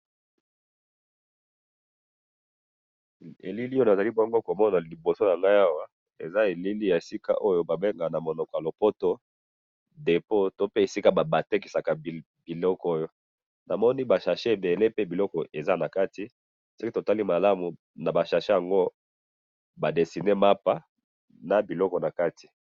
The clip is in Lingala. Elili oyo nazali bongo komona liboso nangayi awa, eza elili ya esika oyobabengaka namonoko yalopoto depos, to pe esika batekisaka biloko oyo, namoni ba sachet ebele pe biloko eza nakati, soki totali malamu naba sachet yango ba desiné mapa, nabiloko nakati